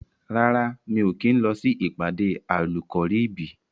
Rárá, mi ò kí ń lọ sí ìpàdé Àlùkọ̀ríbìì.